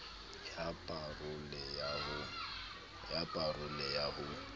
ya pa role ya ho